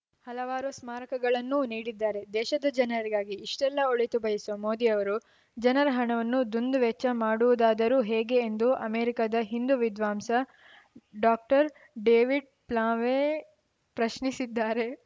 ಹಲವಾರು ಸ್ಮಾರಕಗಳನ್ನೂ ನೀಡಿದ್ದಾರೆ ದೇಶದ ಜನರಿಗಾಗಿ ಇಷ್ಟೆಲ್ಲಾ ಒಳಿತು ಬಯಸುವ ಮೋದಿಯವರು ಜನರ ಹಣವನ್ನು ದುಂದುವೆಚ್ಚ ಮಾಡುವುದಾದರೂ ಹೇಗೆ ಎಂದು ಅಮೆರಿಕದ ಹಿಂದು ವಿದ್ವಾಂಸ ಡಾಕ್ಟರ್ಡೇವಿಡ್‌ ಪ್ಲಾವೆ ಪ್ರಶ್ನಿಸಿದ್ದಾರೆ